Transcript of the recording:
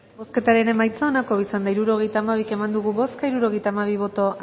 bozketaren emaitza onako izan da hirurogeita hamabi eman dugu bozka hirurogeita hamabi boto